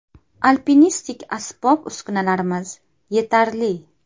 Alpinistlik asbob-uskunalarimiz yetarli.